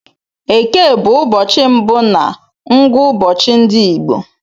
Eke bụ ụbọchị mbụ na ngụụbọchi ndị Igbo.